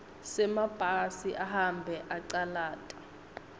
semabhasi ahambe acalata